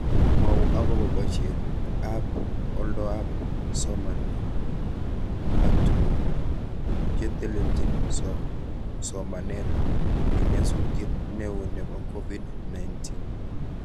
Mwau akobo boishetab oldoab somanet ak tuguk chetelchin somanet eng nyasutiet neo nebo Covid-19